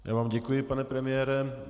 Já vám děkuji, pane premiére.